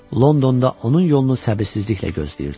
Londonda onun yolunu səbirsizliklə gözləyirdilər.